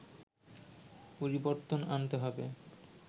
পরিবর্তন আনতে হবে